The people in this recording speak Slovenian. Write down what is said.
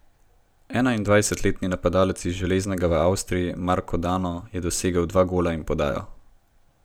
Enaindvajsetletni napadalec iz Železnega v Avstriji Marko Dano je dosegel dva gola in podajo.